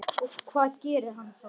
Og hvað gerir hann þá?